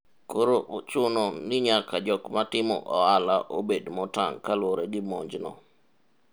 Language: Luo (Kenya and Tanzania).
koro ochuno ni nyaka jok matimo ohala obed motang' kaluwore gi monj no